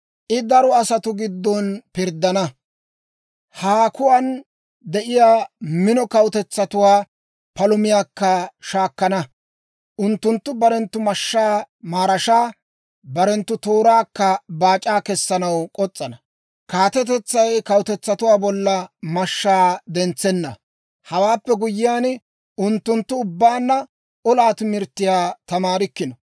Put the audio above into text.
I daro asatuu gidduwaan pirddana; haakuwaan de'iyaa mino kawutetsatuwaa palumiyaakka shaakkana. Unttunttu barenttu mashshaa maraashaa, barenttu tooraakka baac'aa kessanaw k'os's'ana; kaatetetsay kawutetsaa bolla mashshaa dentsenna. Hawaappe guyyiyaan, unttunttu ubbaanna olaa timirttiyaa tamaarikkino.